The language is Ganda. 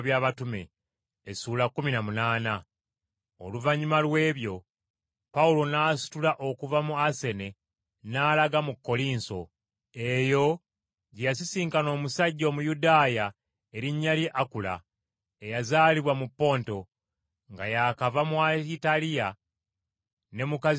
Eyo gye yasisinkana omusajja Omuyudaaya erinnya lye Akula, eyazaalibwa mu Ponto, nga yaakava mu ltaliya ne mukazi we Pulisikira, kubanga Kulawudiyo yali awadde ekiragiro okugoba Abayudaaya bonna mu Ruumi.